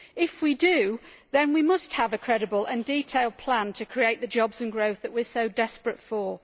If we do, then we must have a credible and detailed plan to create the jobs and growth that we are so desperate for.